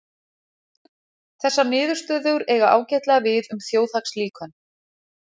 Þessar niðurstöður eiga ágætlega við um þjóðhagslíkön.